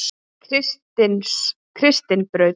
Kristnibraut